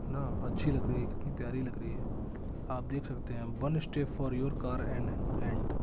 ना अच्छी लग रही है कितनी प्यारी लग रही है आप देख सकते है one steps for your car an and --